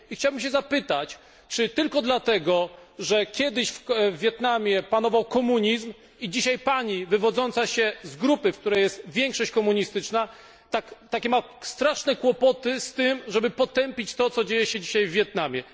Chciałbym zapytać Panią, czy tylko dlatego, że kiedyś w Wietnamie panował komunizm i dzisiaj Pani, wywodząca się z grupy, w której jest większość komunistyczna, ma takie straszne kłopoty z tym, żeby potępić to, co dzieje się dzisiaj w Wietnamie?